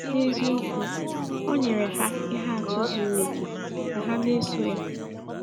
N’eziokwu, o nyere ha ihe atụ zuru oke ka ha na-eso ya.